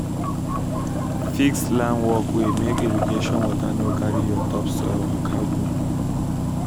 fix slant walkway make irrigation water no carry your topsoil waka go